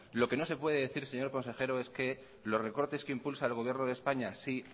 lo que no se puede decir señor consejero es que los recortes que impulsa el gobierno de españa sí